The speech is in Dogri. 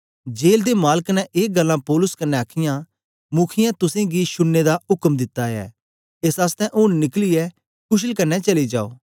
जेल दे मालक ने ए गल्लां पौलुस कन्ने आखीयां मुखीयें तुसेंगी शुड़ने दा उक्म दित्ता ऐ एस आसतै ऊन निकलियै कुशल कन्ने चली जाओ